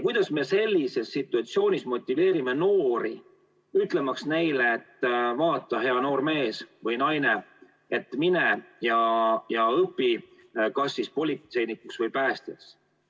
Kuidas me sellises situatsioonis motiveerime noori, öeldes neile, et vaata, hea noor mees või naine, mine ja õpi kas politseinikuks või päästjaks?